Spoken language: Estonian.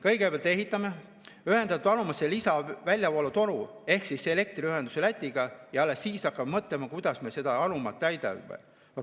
Kõigepealt ehitame ühendatud anumatesse lisaväljavoolutoru ehk siis elektriühenduse Lätiga ja alles siis hakkame mõtlema, kuidas me seda anumat täidame.